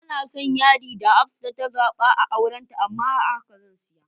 Banason yadi da Hafsah ta zaba a auranta amma a haka zan siya.